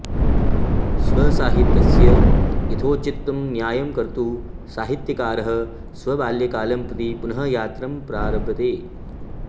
स्वसाहित्यस्य यथोचितं न्याय्यं कर्तुं साहित्यकारः स्वबाल्यकालं प्रति पुनः यात्रां प्रारभते